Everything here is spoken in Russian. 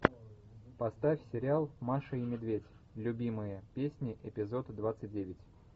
поставь сериал маша и медведь любимые песни эпизод двадцать девять